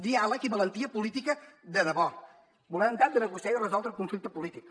diàleg i valentia política de debò voluntat de negociar i resoldre un conflicte polític